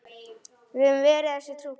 Við höfum verið þessu trú.